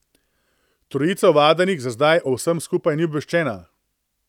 Trojica ovadenih za zdaj o vsem skupaj ni obveščena.